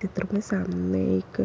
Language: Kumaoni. चित्र में सामने एक